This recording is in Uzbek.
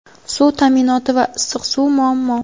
suv ta’minoti va issiq suv muammo.